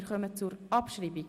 Wir kommen zur Abschreibung.